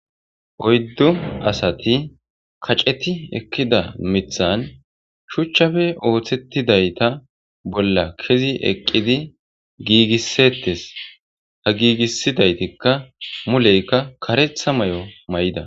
oyddu asati kaceti ekkida mithan shuchchafe ooththettidayta bolla kezi eqqidi giigissettes ha giigisidaytikka muleykka karetha may7o may7ida